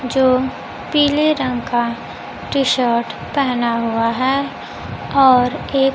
जो पीले रंग का टी शर्ट पेहना हुआ है और एक--